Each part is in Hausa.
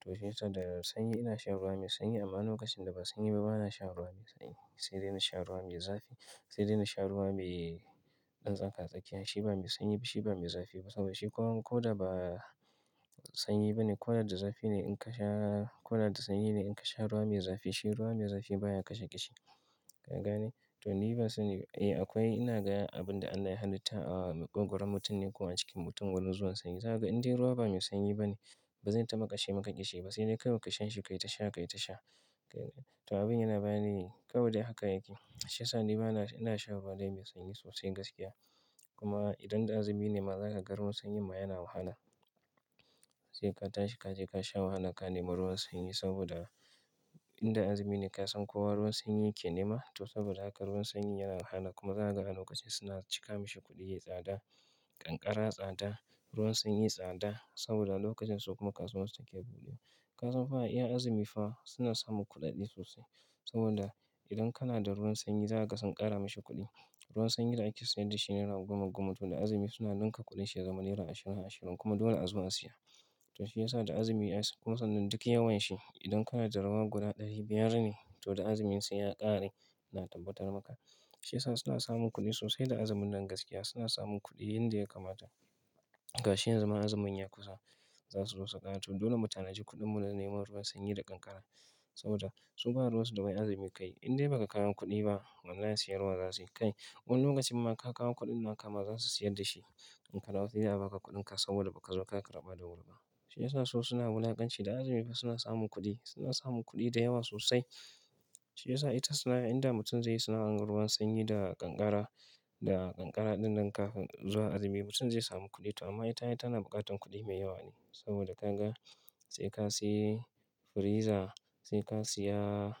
To shi yasa da sanyi ina shan ruwa mai sanyi amma lokacin da ba sanyi ba bana shan ruwa mai sanyi. Sai dai na sha ruwa mai zafi. Sai dai na sha ruwa mai ɗan tsakatsakiya. Shi ba mai sanyi ba shi ba mai zafi ba saboda shi kuwa ko da ba sanyi ba ne ko da da zafi ne in ka sha, ko da da sanyi ne in ka sha ruwa mai zafi shi ruwa mai zafi baya kashe ƙishi. Ka ga ne? To ni ban sani, eh akwai ina ga abun da Allah ya halitta a makwogoron mutum ne ko a cikin mutum wani zuwan sanyi zaka ga indai ruwa ba mai sanyi ba ne ba zai taba kashe maka ƙishi ba sai dai kawai ka sha shi ka yi ta sha ka yi ta sha. To abin yana ba ni, kawai dai haka yake. Shi yasa ni ba na, ina shan ruwa dai mai sanyi sosai gaskiya. Kuma idan da azumi ne ma za ka ga ruwan sanyi ma yana wahala. Sai ka tashi ka je ka sha wahala ka nema ruwan sanyi saboda indabazumi ne ka san kowa ruwan sanyi yake nema. To saboda haka ruwan sanyi yana wahala kuma za ka ga a lokacin suna cika mashi kuɗi yayi tsada, ƙanƙara tsada, ruwan sanyi tsada saboda lokacin su kuma kasuwar su take buɗewa. Ka san fa iya azumi fa suna samun kuɗaɗe sosai. Saboda idan kana da ruwan sanyi za ka ga sun ƙara mashi kuɗi. Ruwan sanyi da ake sayar da shi nera goma goma to da azumi suna ɗinka kuɗin shi ya zama naira ashirin ashirin kuma dole a zo a siya. To shi ya sa da azumi kuma sannan duk yawan shi idan kana da ruwa guda ɗari biyar ne to da azumi sai ya ƙare. Ina tabbatar maka. Shi ya sa suna samun kuɗi sosai da azumin nan gaskiya suna samun kuɗi inda ya kamata. Ga shi yanzu ma azumin ya kusa za su zo su ƙara. To dole mutane ji kuɗin mu na nema ruwan sanyi da ƙanƙara. Saboda su ba ruwan su da wai azumi ka yi. Idan dai ba ka kawo kuɗi ba, wallahi siyarwa za su yi. Kai, wani lokacin ma ka kawo kuɗin na kama za su sayar da shi. In ka na saye za a ba ka kuɗinka saboda ba ka zo ka karɓa da wuri ba. To mesa su suna wulakanci, da azumi fa suna samun kudi. Suna samun kuɗi da yawa sosai. Shi ya sa ita sana' a, idan da mutum zai yi sana'an ruwan sanyi da ƙanƙara, da ƙanƙara ɗin nan kafin zuwa azumi mutum zai samu kuɗi to amma ita ta na buƙatar kuɗi mai yawa ne. Saboda ka ga sai ka sayi friza, sai ka siya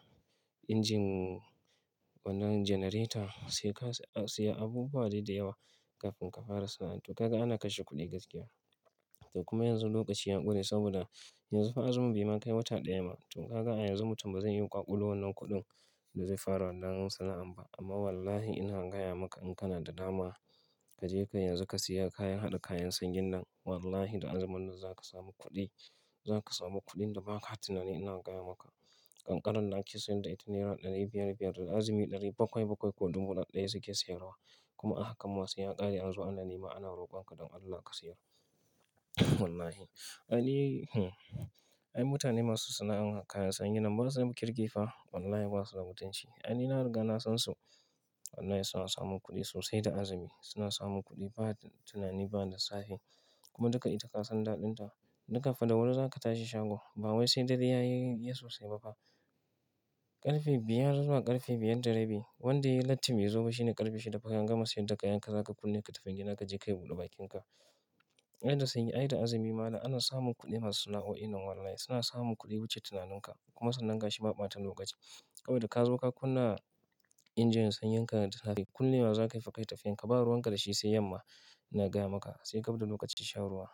injin wannan generator, sai ka siya abubuwa da yawa kafin ka fara sana'a. To ka ga ana kashe kuɗi gaskiya. To kuma yanzu lokaci ya ƙure saboda yanzu fa azumi bai ma kai wata ɗaya ba. To ka ga a yanzu mutum ba zai yi ƙwaƙulo wannan kuɗin da zai fara wannan sana'an ba. Amma wallahi ina gaya maka in kana da dama kaje ka yanzu ka siya kayan haɗa kayan sanyin nan. Wallahi da azumin nan za ka samu kuɗi. Za ka samu kuɗin da ba ka tunani ina gaya maka. Ƙanƙaran da ake sayar da ita nera ɗari biyar biyar da azumi ɗari bakwai bakwai ko ɗubu ɗaya suke siyarwa. Kuma a hakan ma sai ya ƙare an zo an nema ana rokon ka don Allah ka siyar. Wallahi. Ai, hm, ai mutane masu sana'an kayan sanyin nan ba su da kirki fa. Wallahi ba su da mutunci. Ai ni na riga na san su. Wallahi suna samun kuɗi sosai da azumi. Suna samun kuɗi ba da tunani ba da safe. Kuma duk ita ka san daɗin ta. Duka fa da wuri za ka tashi shago. Ba wai sai dare ya yi iya sosai ba fa. Ƙarfe biyar zuwa ƙarfe biyar da rabi. Wanda ya yi latti yaza ma shi ne ƙarfe shida fa ka gama sayar da kayan ka za ka kulle ka tafi gida ka je ka yi buɗe bakinka. Ai da sanyi ai da azumi ma ana samun kuɗi masu sana'o'in nan wallahi. Suna samun kuɗi wuce tunaninka. Kuma sannan ga shi ba ɓata lokaci. Kawai da ka zo ka kunna injin sanyin ka da safe. Kulle wa za ka yi fa ka yi tafiyan ka. Ba ruwan ka da shi sai yamma. Ina gaya maka. Sai gab da lokacin shan ruwa.